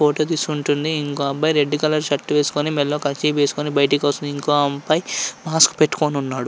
Photo తీసుకుంటూ ఉంది. ఇంకో అబ్బాయి రెడ్ కలర్ షర్ట్ వేసుకొని మేడలో కర్చీఫ్ వేసుకొని బయటికి ఇంకో అబ్బాయి మాస్క్ పెట్టుకొని ఉన్నాడు.